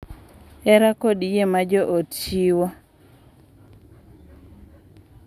Hera kod yie ma jo ot chiwo,